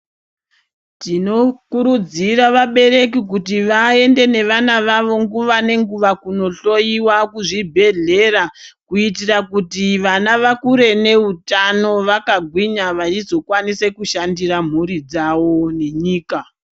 Tinokurudzira vabereki kuti vaende nevana vavo nguva nenguva kunondoyiwa kuzvibhedhleya kuitira kuti vana vakure neutano vakagwinya vechizokwanisa kushandisa mburi dzavo munyika.